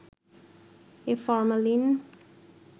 A formalin